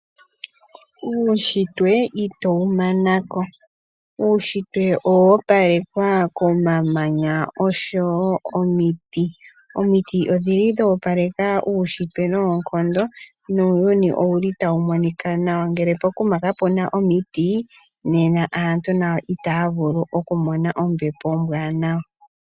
Uushitwe itowu manako. Uushitwe owo opalekwa komamanya oshowo omiiti. Omiiti odhili dho opaleka uushitwe noonkondo nuuyuni owuli tawu monika nawa ngele pokuma kapuna omiiti nena aantu nayo itaya vulu oku mona ombepo ombwanawa.